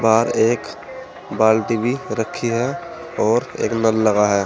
और एक बाल्टी भी रखी है और एक नल लगा है।